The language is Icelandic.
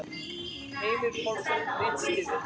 Heimir Pálsson ritstýrði.